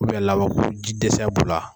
lawako ji dɛsɛ b'u la.